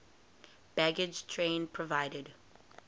baggage train provided